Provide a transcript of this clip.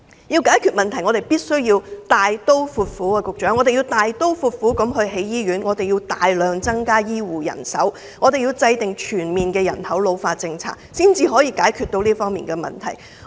要解決問題，我們必須大刀闊斧，局長，我們要大刀闊斧地興建醫院，我們要大量增加醫護人手，我們要制訂全面的人口老化政策，才能解決這方面的問題。